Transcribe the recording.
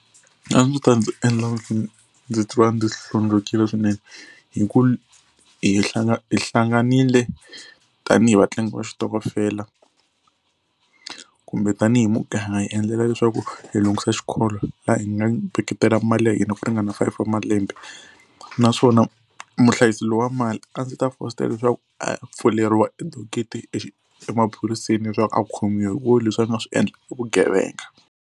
A swi ta ndzi endla ndzi ndzi twa ndi hlundzukile swinene hi ku hi hlanganile tanihi vatlangi va xitokofela kumbe tanihi muganga hi endlela leswaku hi lunghisa xikolo laha hi nga veketela mali ya hina ku ringana five wa malembe naswona muhlayisi loyi wa mali a ndzi ta fositela leswaku a ya pfuleriwa e dokete emaphoriseni leswaku a khomiwa hikuva leswi a nga swi endla i vugevenga.